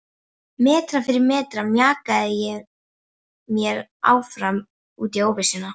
Metra fyrir metra mjakaði ég mér áfram út í óvissuna.